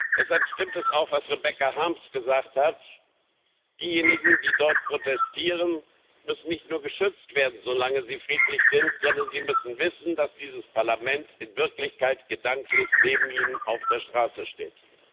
Deshalb stimmt es auch, was Rebecca Harms gesagt hat Diejenigen, die dort protestieren, müssen nicht nur geschützt werden, solange sie friedlich sind, sondern sie müssen wissen, dass dieses Parlament in Wirklichkeit gedanklich neben ihnen auf der Straße steht.